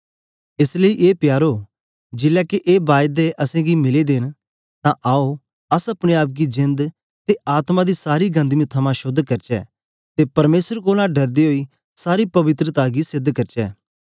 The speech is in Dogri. एस लेई ए प्यारो जेलै के ए बायदे असेंगी मिले दे न तां आओ अस अपने आप गी जेंद ते आत्मा दी सारी गंदगी थमां शोद्ध करचै ते परमेसर कोलां डरदे ओई सारी पवित्रता गी सेध करचै